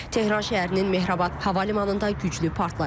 Tehran şəhərinin Mehrabad Hava Limanında güclü partlayış olub.